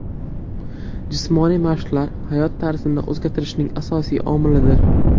Jismoniy mashqlar hayot tarzini o‘zgartirishning asosiy omilidir.